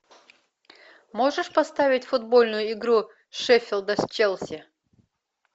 можешь поставить футбольную игру шеффилда с челси